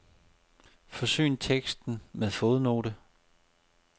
Forsyn teksten med fodnote.